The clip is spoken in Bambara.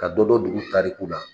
Ka dɔ, dɔn duguta kun na